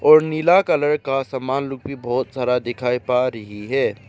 और नीला कलर का समान लोग भी बहोत सारा दिखाई पा रही है।